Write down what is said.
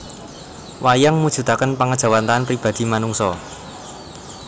Wayang mujudaken pangéjawantahan pribadi manungsa